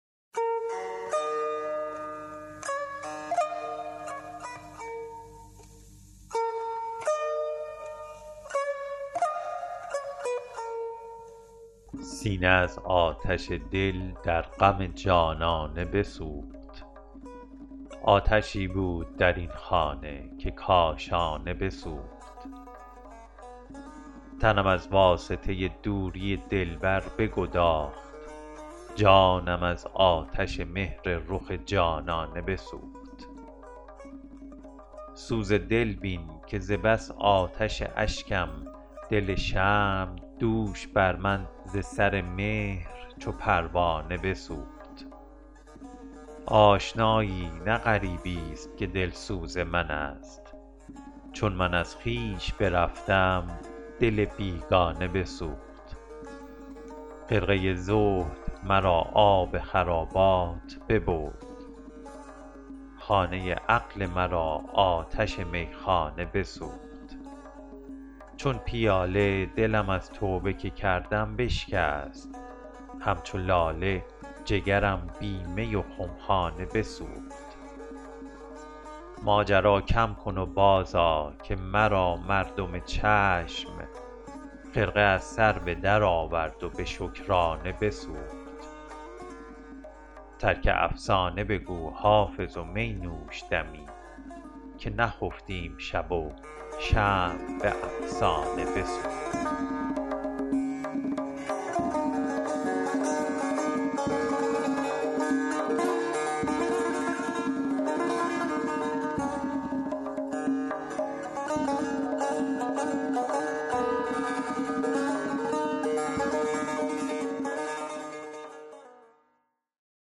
سینه از آتش دل در غم جانانه بسوخت آتشی بود در این خانه که کاشانه بسوخت تنم از واسطه دوری دلبر بگداخت جانم از آتش مهر رخ جانانه بسوخت سوز دل بین که ز بس آتش اشکم دل شمع دوش بر من ز سر مهر چو پروانه بسوخت آشنایی نه غریب است که دلسوز من است چون من از خویش برفتم دل بیگانه بسوخت خرقه زهد مرا آب خرابات ببرد خانه عقل مرا آتش میخانه بسوخت چون پیاله دلم از توبه که کردم بشکست همچو لاله جگرم بی می و خمخانه بسوخت ماجرا کم کن و بازآ که مرا مردم چشم خرقه از سر به درآورد و به شکرانه بسوخت ترک افسانه بگو حافظ و می نوش دمی که نخفتیم شب و شمع به افسانه بسوخت